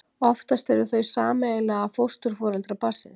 Oftast eru þau sameiginlega fósturforeldrar barnsins.